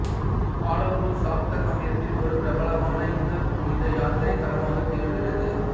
ஆலம்பூர் சாக்த சமயத்தில் ஒரு பிரபலமான இந்து புனித யாத்திரைத் தளமாகத் திகழ்கிறது